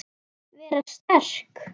Vera sterk.